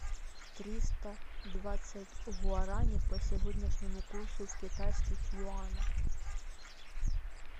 триста двадцать гуарани по сегодняшнему курсу в китайских юанях